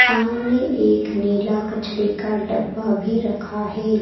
सामने एक नीला कचड़े का डब्बा भी रखा है।